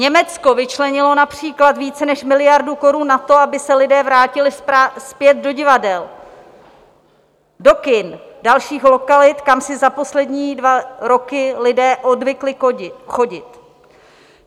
Německo vyčlenilo například více než miliardu korun na to, aby se lidé vrátili zpět do divadel, do kin, dalších lokalit, kam si za poslední dva roky lidé odvykli chodit.